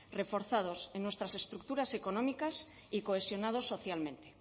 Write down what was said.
reforzados en nuestras estructuras económicas y cohesionados socialmente